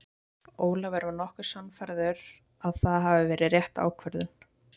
Ólafur var nokkuð sannfærður að það hafi verið rétt ákvörðun.